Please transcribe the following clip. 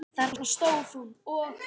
Þarna stóð hún og.